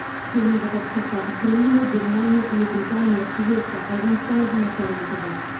сонымен қатар ұшаққа украина германия ұлыбритания швеция ауғанстан азаматтары да отырған